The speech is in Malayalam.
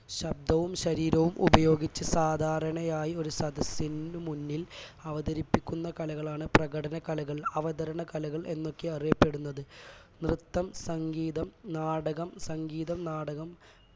ശബ്ദവും ശരീരവും ഉപയോഗിച്ച് സാധാരണയായി ഒരു സദസ്സിനു മുന്നിൽ അവതരിപ്പിക്കുന്ന കലകളാണ് പ്രകടന കലകൾ അവതരണ കലകൾ എന്നൊക്കെ അറിയപ്പെടുന്നത് നൃത്തം സംഗീതം നാടകം സംഗീതം നാടകം